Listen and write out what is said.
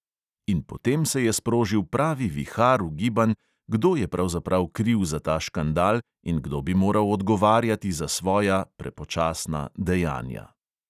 In potem se je sprožil pravi vihar ugibanj, kdo je pravzaprav kriv za ta škandal in kdo bi moral odgovarjati za svoja dejanja.